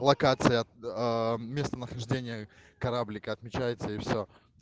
локация местонахождения кораблика отмечается и всё